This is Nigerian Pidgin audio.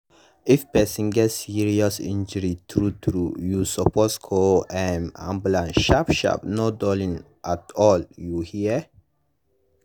if person get serious injury true true you suppose call um ambulance sharp sharp no dulling at all you hear?